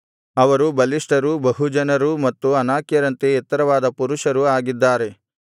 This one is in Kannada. ಅವರು ಬಲಿಷ್ಠರೂ ಬಹುಜನರೂ ಮತ್ತು ಅನಾಕ್ಯರಂತೆ ಎತ್ತರವಾದ ಪುರುಷರೂ ಆಗಿದ್ದರು